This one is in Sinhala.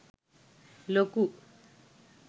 ලොකු